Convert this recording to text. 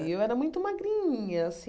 E eu era muito magrinha.